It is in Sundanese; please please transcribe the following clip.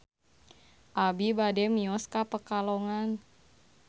Abi bade mios ka Pekalongan